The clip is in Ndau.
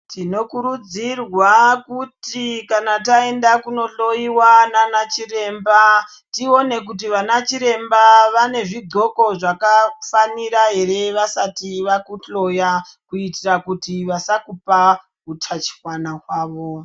Tinokurudzirwa kuti kana taenda kunohloyiwa naana chiremba tione kuti ana chiremba vane zvixhoko zvakafanira here vasati vakuhloya kuitira kuti vasakupa utachiona wavo.